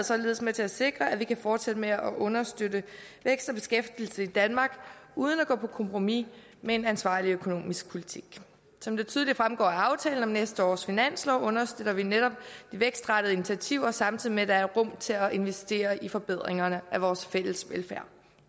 således med til at sikre at vi kan fortsætte med at understøtte vækst og beskæftigelse i danmark uden at gå på kompromis med en ansvarlig økonomisk politik som det tydeligt fremgår af aftalen om næste års finanslov understøtter vi netop de vækstrettede initiativer samtidig med at der er rum til at investere i forbedringerne af vores fælles velfærd